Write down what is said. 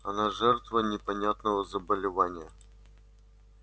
он жертва непонятного заболевания